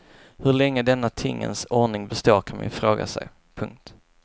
Hur länge denna tingens ordning består kan man fråga sig. punkt